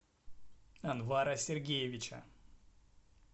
анвара сергеевича